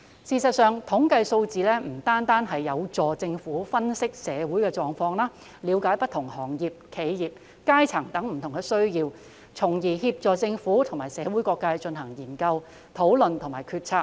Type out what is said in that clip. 事實上，統計數字有助政府分析社會狀況，了解不同行業、企業、階層等的不同需要，從而協助政府及社會各界進行研究、討論及決策。